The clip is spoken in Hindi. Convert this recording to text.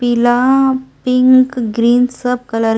पीला पिंक ग्रीन सब कलर --